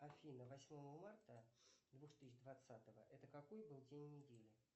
афина восьмого марта две тысячи двадцатого это какой был день недели